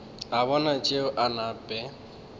a bona tšeo a nape